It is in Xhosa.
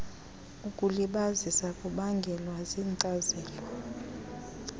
ukulibazisa kubangelwa yinkcazelo